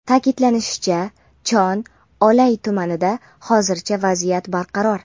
Ta’kidlanishicha, Chon-Olay tumanida hozircha vaziyat barqaror.